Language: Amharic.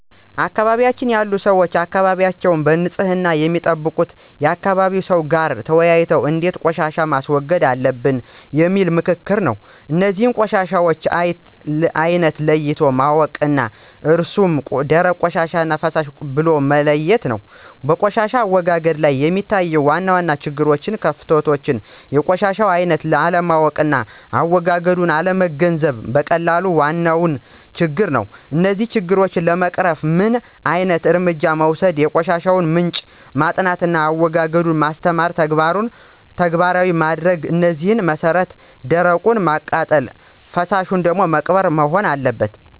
በአካባቢያችን ያሉ ሰዎች አካባቢያቸዉን በንፅህና የሚጠብቁት ከአካባቢ ሰው ጋር ተወያይተው እንዴት ቆሻሻን ማስወገድ አለበት በሚል በምክክር ነው። እነዚህንም የቆሻሻውን አይነት ለይቶ ማወቅ ነው እሱም ደረቅ ቆሻሻና ፈሳሽ ብሎ መለየት ነው። በቆሻሻ አወጋገድ ላይ የሚታዩ ዋና ዋና ችግሮችና ክፍተቶች የቆሻሻውን አይነት አለማወቅና አዎጋገዱን አለመገንዘብና መቀላቀል ነው ዋና ችግር። እነዚህን ችግሮች ለመቅረፍ ምን ዓይነት እርምጃ መወሰድ የቆሻሻውን ምንጭ ማጥናትና አዎጋገዱን ማስተማርና ተግባራዊ ማድረግ ነው በዚህ መሰረት ደረቁን በማቃጠልና ፈሳሹን በመቅበር መሆን አለበት።